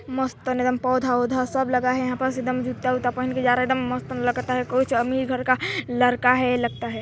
मस्त एदम पौधा -वोधा सब लगा है यहाँ पास एकम जूता- ऊता पहन के जा रहा है एदम मस्त एदम लगता हैं कुछ एकदम अमीर घर का लड़का है लगता हैं।